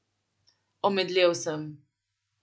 Omedlel sem.